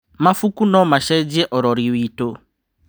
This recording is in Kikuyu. Mabuku no macenjie ũrori witũ.